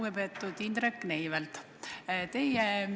Lugupeetud Indrek Neivelt!